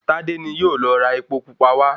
Tádé ni yóò lọ ra epo pupa wá